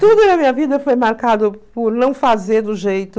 Tudo na minha vida foi marcado por não fazer do jeito...